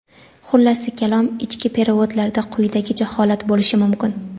Xullasi kalom, ichki "perevod"larda quyidagicha holat bo‘lishi mumkin:.